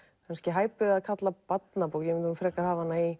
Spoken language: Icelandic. hæpið að kalla barnabók ég myndi frekar hafa hana í